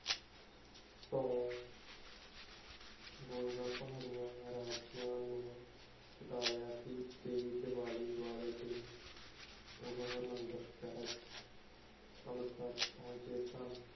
ਤੋਂ ਬਬਜਾਂ ਪਹਾੜੀਆਂ ਰਾਜਿਆਂ ਨੂੰ ਛੜਾਯਾ ਸੀ ਤੇ ਦੀਵਾਲੀ ਵਾਲੇ ਦਿਨ ਓਹੋ ਹਰਿਮੰਦਰ ਸਾਹਿਬ ਅੰਮ੍ਰਿਤਸਰ ਪਹੁੰਚੇ ਸਨ